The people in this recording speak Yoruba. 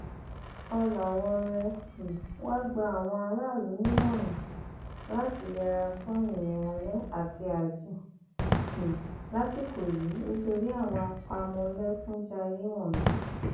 ọlàwọọre um wàá gba àwọn aráàlú nímọràn láti yẹra fún irin alẹ àti ààjìn um lásìkò yìí nítorí àwọn àpamọlẹkùnjayé wọnyí